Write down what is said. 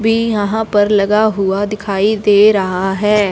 अभी यहां पर लगा हुआ दिखाई दे रहा है।